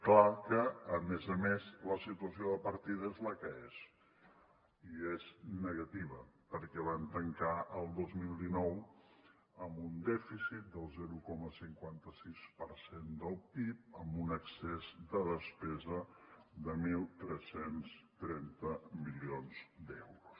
clar que a més a més la situació de partida és la que és i és negativa perquè van tancar el dos mil nou amb un dèficit del zero coma cinquanta sis per cent del pib amb un excés de despesa de tretze trenta milions d’euros